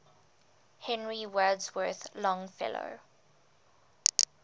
henry wadsworth longfellow